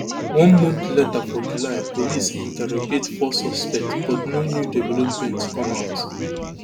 one month later forjuly police interrogate four suspects but no new developments come out